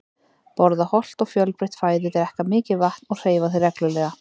Borða hollt og fjölbreytt fæði, drekka mikið vatn og hreyfa þig reglulega.